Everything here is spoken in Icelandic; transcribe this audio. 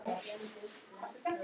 Hvarfst mér frá.